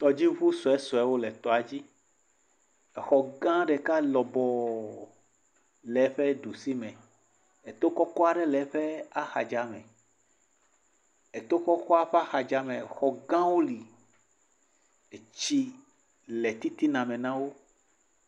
Tɔdziŋu suesuewo le tɔadzi, exɔ gã ɖeka lɔbɔɔ le eƒe ɖu si me. Eto kɔkɔ aɖe le eƒe axadza me. Le to kɔkɔa ƒe axadzame xɔ gãwo li, etsi le titina me na wo.